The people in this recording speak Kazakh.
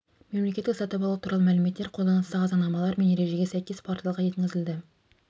мемлекеттік сатып алу туралы мәліметтер қолданыстағы заңнамалар мен ережеге сәйкес порталға енгізілді